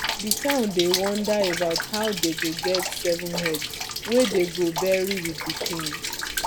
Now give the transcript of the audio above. the town dey wonder about how dey go get seven heads wey dey go bury with the king